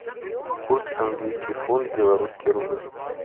курс английский фунт белорусский рубль